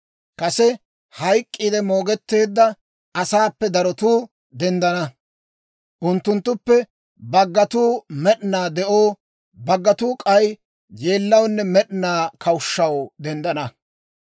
Kase hayk'k'iide moogetteedda asaappe darotuu denddana. Unttunttuppe baggatuu med'inaa de'oo, baggatuu k'ay yeellawunne med'inaa kawushshaw denddana.